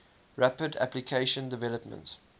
rapid application development